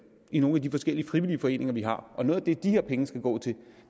i nogle af de forskellige frivillige foreninger vi har noget af det de her penge skal gå til